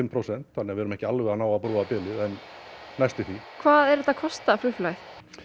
prósent þannig við erum ekki alveg að ná að brúa bilið en næstum því hvað er þetta að kosta flugfélagið